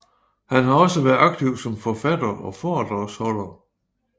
Han har også været aktiv som forfatter og foredragsholder